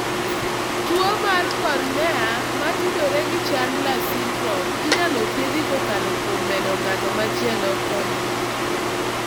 Tuwo mar cornea motudore gi Chandlers syndrome inyalo thiedhi kokalo kuom medo ng'at machielo cornea.